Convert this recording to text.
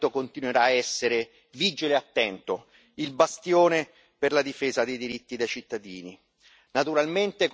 risolte. Questo Parlamento continuerà a essere vigile e attento, il bastione per la difesa dei diritti